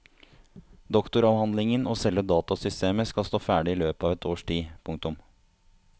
Doktoravhandlingen og selve datasystemet skal stå ferdig i løpet av et års tid. punktum